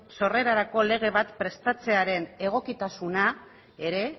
sorrerarako lege bat prestatzearen egokitasuna ere